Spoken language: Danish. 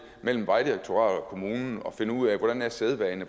mellem vejdirektoratet og kommunen og finde ud af hvordan sædvane